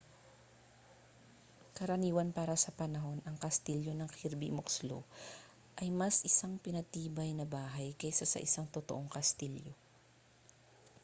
karaniwan para sa panahon ang kastilyo ng kirby muxloe ay mas isang pinatibay na bahay kaysa sa isang totoong kastilyo